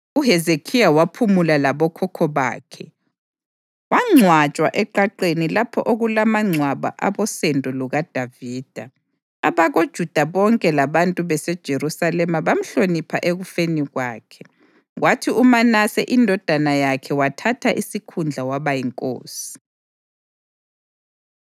UHezekhiya waphumula labokhokho bakhe wangcwatshwa eqaqeni lapha okulamangcwaba abosendo lukaDavida. AbakoJuda bonke labantu baseJerusalema bamhlonipha ekufeni kwakhe. Kwathi uManase indodana yakhe wathatha isikhundla waba yinkosi.